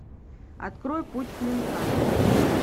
открой путь клинка